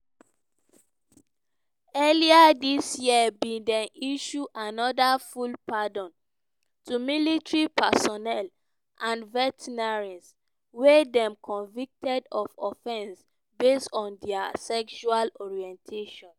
earlier dis year biden issue anoda full pardon to military personnel and veterans wey dey convicted of offence based on dia sexual orientation.